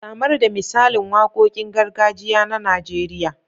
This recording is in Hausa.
Samar da misalin waqoqin gargajiya na Nijeriya.